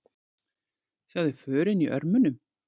Sjáðu förin í örmunum.